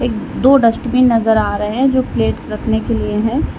एक दो डस्टबिन नजर आ रहे हैं जो प्लेट्स रखने के लिए हैं।